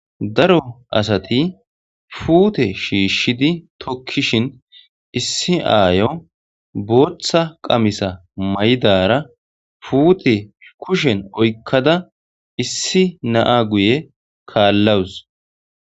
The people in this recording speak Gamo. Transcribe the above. Daro asati puute shishidi tikishin issi aayo boththa qamissa mayiddara putte kushen oyikada issi na'a guye kalawus.